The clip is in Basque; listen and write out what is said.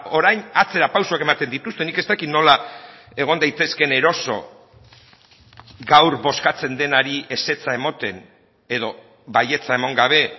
orain atzera pausoak ematen dituzte nik ez dakit nola egon daitezkeen eroso gaur bozkatzen denari ezetza ematen edo baietza eman gabe